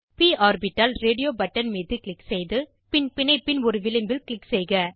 ப் orbital radio button மீது click செய்து பின் பிணைப்பின் ஒரு விளிம்பில் க்ளிக் செய்க